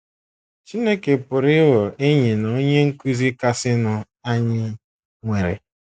Chineke pụrụ ịghọ Enyi na Onye Nkụzi kasịnụ anyị nwere.